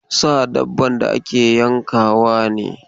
Sa dabban da ake yankawa ne.